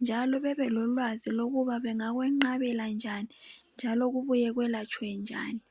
njalo bebe lolwazi lokuba bengakunqabela njani njalo kubuye lwelatshwe njani